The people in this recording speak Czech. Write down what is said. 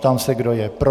Ptám se, kdo je pro.